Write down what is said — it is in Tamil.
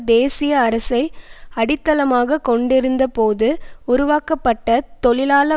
தேசிய அரசை அடித்தளமாக கொண்டிருந்தபோது உருவாக்கப்பட்ட தொழிலாள